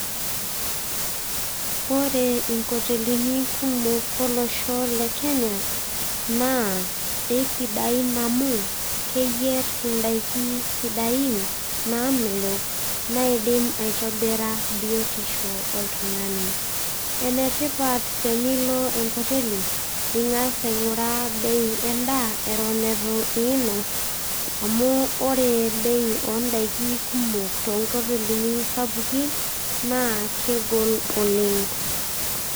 Ore nkotelini kumok olosho lekenya naa kisidain amu keyierr indaikin sidain namelok naidim aitobira biotisho oltung'ani. Enetipat tenilo enkoteli ning'as aing'uraa bei endaa eton itu inos amu ore bei ondaiki kumok toonkotelini sapukin naa kegol oleng'.